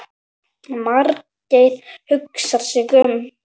Margeir hugsar sig um.